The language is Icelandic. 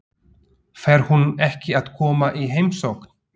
Fer hún ekki að koma í heimsókn?